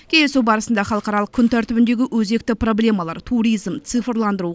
кездесу барысында халықаралық күн тәртібіндегі өзекті проблемалар туризм цифрландыру